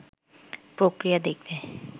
প্রক্রিয়া দেখতে